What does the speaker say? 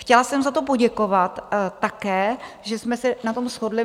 Chtěla jsem za to poděkovat také, že jsme se na tom shodli.